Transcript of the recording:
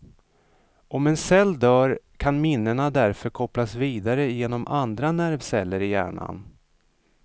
Om en cell dör kan minnena därför kopplas vidare genom andra nervceller i hjärnan.